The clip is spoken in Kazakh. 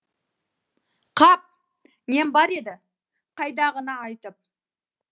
қап нем бар еді қайдағыны айтып